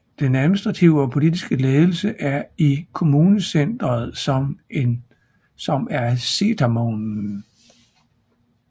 Den administrative og politiske ledelse er i kommunecenteret som er Setermoen